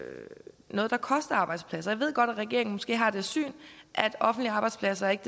et at der koster arbejdspladser jeg ved godt at regeringen måske har det syn at offentlige arbejdspladser ikke